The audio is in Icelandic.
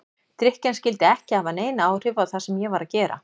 Drykkjan skyldi ekki hafa nein áhrif á það sem ég var að gera.